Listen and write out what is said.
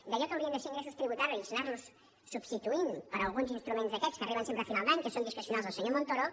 d’allò que haurien de ser ingressos tributaris anar·los substituint per alguns instruments d’aquests que ar·riben sempre a final d’any que són discrecionals del senyor montoro